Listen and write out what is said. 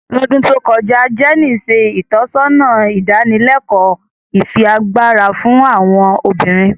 Lodun to kọja, Jenny ṣe itọsọna idanileko ifiagbara fun awọn obinrin.